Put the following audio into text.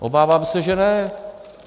Obávám se, že ne.